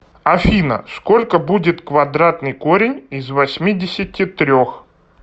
афина сколько будет квадратный корень из восьмидесяти трех